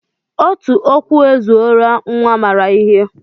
Otu okwu ezuorola nnwa maara ihe